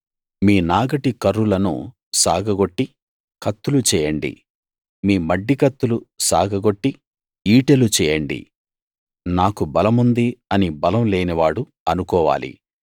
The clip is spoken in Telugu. మీ నాగటి కర్రులను సాగగొట్టి కత్తులు చేయండి మీ మడ్డికత్తులు సాగగొట్టి ఈటెలు చేయండి నాకు బలముంది అని బలం లేనివాడు అనుకోవాలి